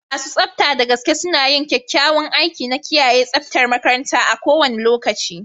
Masu tsafta da gaske suna yin kyakkyawan aiki na kiyaye tsaftar makaranta a kowane lokaci.